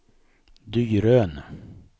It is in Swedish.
Dyrön